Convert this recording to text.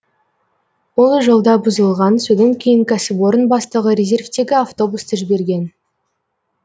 ол жолда бұзылған содан кейін кәсіпорын бастығы резервтегі автобусты жіберген